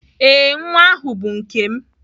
Ee, nwa ahụ bụ nke m